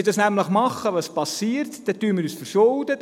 Wenn dies passiert, verschulden wir uns.